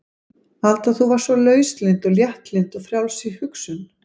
Alda þú varst svo lauslynd og léttlynd og frjáls í hugsun.